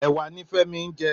Èwà ni Femi n jè